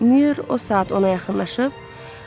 Mayor o saat ona yaxınlaşıb.